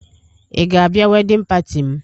Ị ga-abịa wedịn pati m?